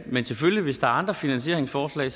men selvfølgelig hvis der er andre finansieringsforslag